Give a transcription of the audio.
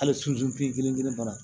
Hali susu bi kelen kelen fana